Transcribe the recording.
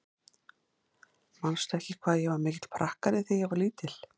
Manstu ekki hvað ég var mikill prakkari þegar ég var lítil?